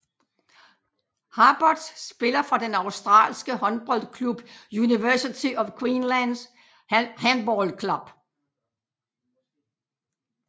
Harbort spiller for den australske håndboldklub University of Queensland Handball Club